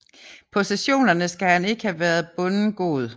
På sessionerne skal han ikke have været bonden god